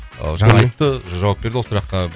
жаңа айтты жауап берді ол сұраққа